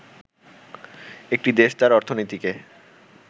একটি দেশ তার অর্থনীতিকে